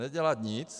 Nedělat nic.